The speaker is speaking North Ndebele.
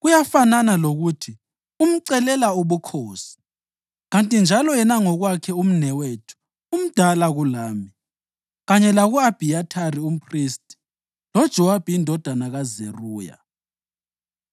Kuyafanana lokuthi umcelela ubukhosi, kanti njalo yena ngokwakhe umnewethu umdala kulami kanye laku-Abhiyathari umphristi loJowabi indodana kaZeruya!”